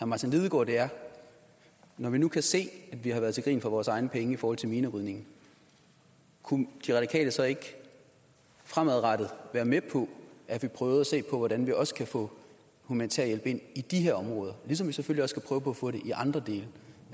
martin lidegaard er når vi nu kan se at vi har været til grin for vores egne penge i forhold til minerydning kunne de radikale så ikke fremadrettet være med på at vi prøvede se på hvordan vi også kan få humanitær hjælp ind i de her områder ligesom vi selvfølgelig også skal prøve på at få det i andre dele